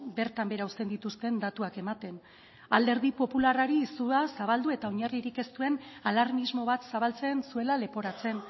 bertan behera uzten dituzten datuak ematen alderdi popularrari sua zabaldu eta oinarririk ez duen alarmismo bat zabaltzen zuela leporatzen